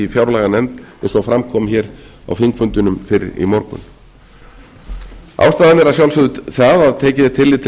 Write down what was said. fjárlaganefnd eins og fram kom hér á þingfundinum fyrr í morgun ástæðan er að sjálfsögðu sú að tekið er tillit til